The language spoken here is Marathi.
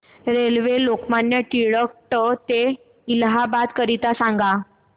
रेल्वे लोकमान्य टिळक ट ते इलाहाबाद करीता सांगा